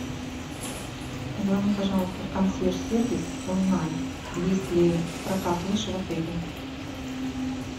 позвони пожалуйста в консьерж сервис узнай есть ли прокат лыж в отеле